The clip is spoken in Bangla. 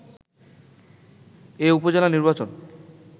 এ উপজেলা নির্বাচন